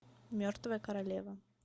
мертвая королева